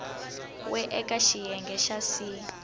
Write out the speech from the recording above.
we eka xiyenge xa c